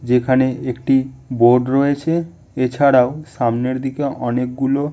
যেখানে একটি বোর্ড রয়েছে এছাড়াও সামনের দিকে অনেকগুলো--